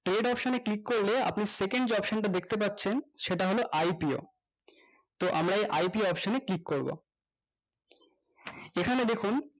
trade option এ click করলে আপনি second যে option টা দেখতে পাচ্ছেন সেটা হলো IPO তো আমরা এই IPOoption এ click করবো এখানে দেখুন